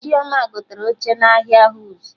Chioma gotere oche n'ahịa Wuse